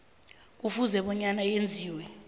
kufuze bona yenziwe